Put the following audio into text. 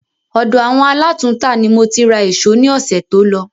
Ọ̀dọ̀ àwọn alátùntà ni mo ti ra èsó ní ọ̀sẹ̀ tó lọ